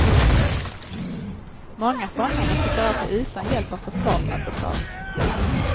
Många fångar måste klara sig utan hjälp av försvarsadvokat.